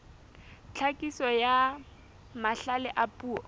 tlhakiso ya mahlale a puo